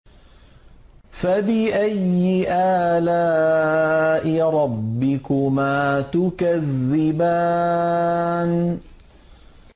فَبِأَيِّ آلَاءِ رَبِّكُمَا تُكَذِّبَانِ